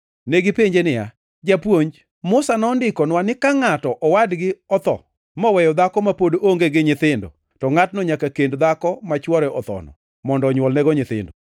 Negipenje niya, “Japuonj, Musa nondikonwa ni ka ngʼato owadgi otho moweyo dhako ma pod onge gi nyithindo, to ngʼatno nyaka kend dhako ma chwore othono mondo onywolnego nyithindo.